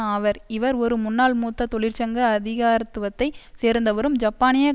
ஆவர் இவர் ஒரு முன்னாள் மூத்த தொழிற்சங்க அதிகாரத்துவத்தை சேர்ந்தவரும் ஜப்பானிய